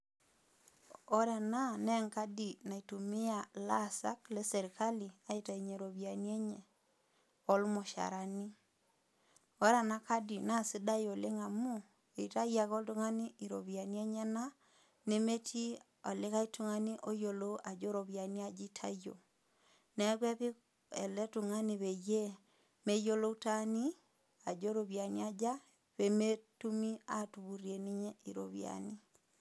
Ore ena naa enkadi naitumiya ilaasak le sirkali aitainye iropiani enye, o lmushaarani. Ore ena kadi naa sidai oleng' amu, eitayu ake oltung'ani iropiani enyena nemetii olikai tung'ani oyiolou ajo iropiani aja eitayio. Naake epik ele tung'ani peyie meyiolou taani ajo iropiani aja, pee metumi atupurie ninye iropiani.